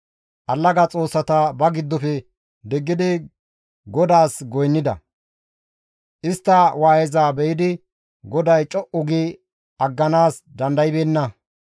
Allaga xoossata ba giddofe diggidi GODAAS goynnida; istta waayeza be7idi GODAY co7u gi agganaas dandaybeenna.